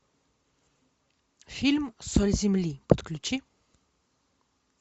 фильм соль земли подключи